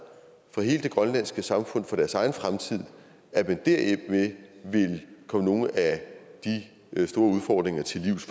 fra hele det grønlandske samfund for deres egen fremtid vil komme nogle af de store udfordringer til livs